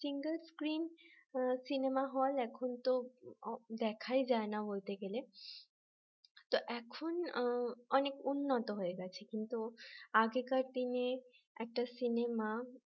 single screen cinema hall এখন তো দেখাই যায় না বলতে গেলে তো এখন অনেক উন্নত হয়ে গেছে কিন্তু আগেকার দিনে একটা সিনেমা